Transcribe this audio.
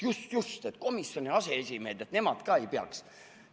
Just-just, komisjoni aseesimehed nagu ka ei peaks.